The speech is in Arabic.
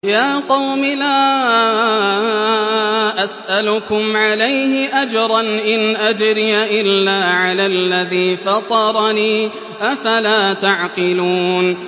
يَا قَوْمِ لَا أَسْأَلُكُمْ عَلَيْهِ أَجْرًا ۖ إِنْ أَجْرِيَ إِلَّا عَلَى الَّذِي فَطَرَنِي ۚ أَفَلَا تَعْقِلُونَ